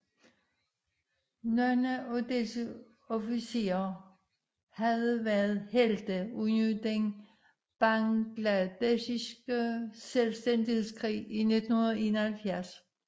Nogle af disse officerer havde været helte under den bangladeshiske selvstændighedskrig i 1971